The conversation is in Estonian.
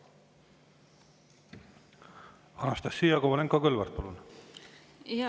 Anastassia Kovalenko-Kõlvart, palun!